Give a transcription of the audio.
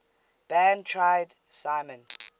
band tried simon